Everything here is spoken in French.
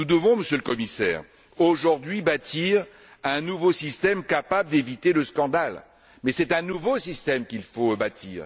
Nous devons, Monsieur le Commissaire, aujourd'hui bâtir un système capable d'éviter le scandale, mais c'est un nouveau système qu'il faut bâtir.